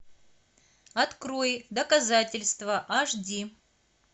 открой доказательство аш ди